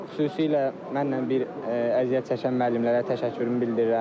Xüsusilə mənlə bir əziyyət çəkən müəllimlərə təşəkkürümü bildirirəm.